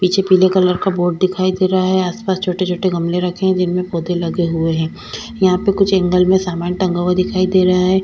पीछे पीले कलर का बोर्ड दिखाई दे रहा है आसपास छोटे-छोटे गमले रखे हैं जिनमें पौधे लगे हुए हैं यहां पर कुछ एंगल में सामान टंगा हुआ दिखाई दे रहा है।